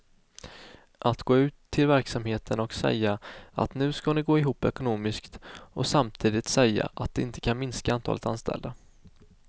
Att gå ut till verksamheten och säga att nu ska ni gå ihop ekonomiskt och samtidigt säga att de inte kan minska antalet anställda.